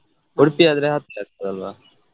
Udupi ಆದ್ರೆ ಹತ್ರ ಆಗ್ತದಲ್ವಾ.